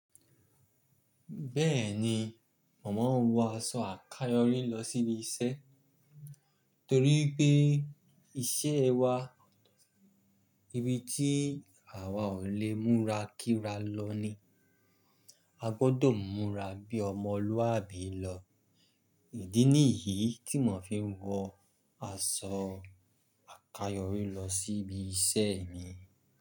Bẹ́ẹ̀ni, mo maa ń wọ aṣọ àkayòrí lọ sí ibi iṣẹ́, torí pé iṣẹ́ wa ibi tí àwa ò lè múra kíra lọ ni. A gbọ́dọ̀ múra bí ọmọlúwàbí lọ. Ìdí nìyí ti mò fi ń wọ aṣọ àkayòrí lọ sí ibi iṣẹ́ mi.